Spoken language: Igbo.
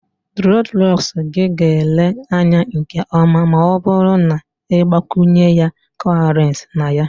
Dreadlocks gị ga-ele anya nke ọma ma ọ bụrụ na ị gbakwunye cowries na ya